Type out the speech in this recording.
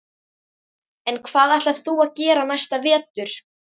En hvað ætlar þú að gera næsta vetur?